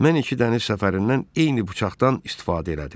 Mən iki dəniz səfərindən eyni bıçaqdan istifadə elədim.